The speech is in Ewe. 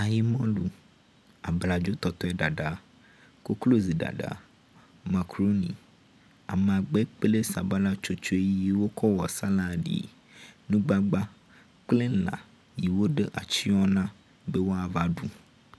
Ayimɔlu, abladzotɔtɔeɖaɖa, kokloziɖaɖa, makaɖoni, amagbe kple sabala tsotso yi wokɔ wɔ saladi. Nugbagba kple lã yi woɖo atsɔ na be woava ɖu.